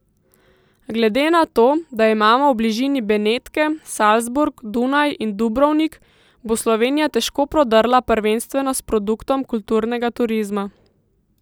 Glede na to, da imamo v bližini Benetke, Salzburg, Dunaj in Dubrovnik, bo Slovenija težko prodrla prvenstveno s produktom kulturnega turizma.